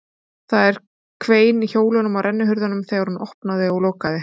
Það hvein í hjólunum á rennihurðunum þegar hún opnaði og lokaði